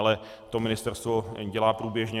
Ale to ministerstvo dělá průběžně.